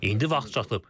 İndi vaxt çatıb.